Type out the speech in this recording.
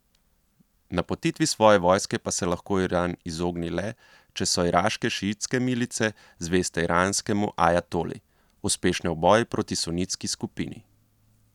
Napotitvi svoje vojske pa se lahko Iran izogne le, če so iraške šiitske milice, zveste iranskemu ajatoli, uspešne v boju proti sunitski skupini.